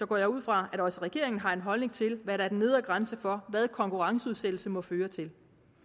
går jeg ud fra at også regeringen har en holdning til hvad der er den nedre grænse for hvad konkurrenceudsættelse må føre til